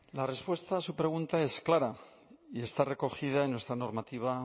la respuesta a su pregunta es clara y está recogida en nuestra normativa